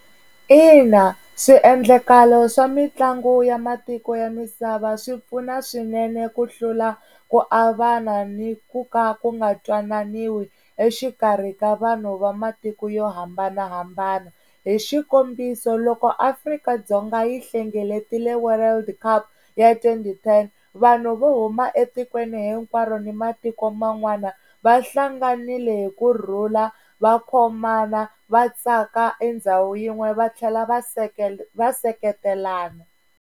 Ina, swiendlakalo swa mitlangu ya matiko ya misava swi pfuna swinene ku hlula ku avana ni ku ka ku nga twananiwi exikarhi ka vanhu va matiko yo hambanahambana hi xikombiso loko Afrika-Dzonga yi hlengeletile world cup ya twenty ten vanhu vo huma etikweni hinkwaro ni matiko man'wana va hlanganile hi kurhula va khomana va tsaka endhawu yin'we va tlhela va va seketelana.